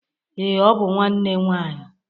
Ee, ọ bụ nwanne nwanyị